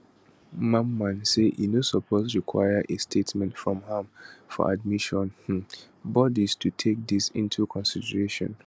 mamman say e no suppose require a statement from am for admission um bodis to take dis into consideration